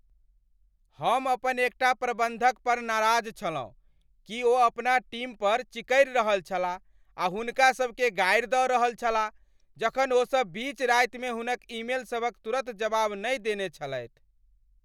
हम अपन एकटा प्रबंधक पर नाराज छलहुँ कि ओ अपना टीम पर चिकरि रहल छलाह आ हुनकासभकेँ गारि दऽ रहल छलाह जखन ओसभ बीच रातिमे हुनक ईमेलसभक तुरत जवाब नहि देने छलथि।